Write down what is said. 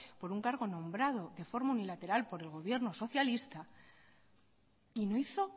por un cargo nombrado de forma unilateral por el gobierno socialista y no hizo